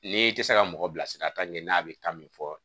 N'i tɛ se ka mɔgɔ bilasira n'a bɛ kan min fɔ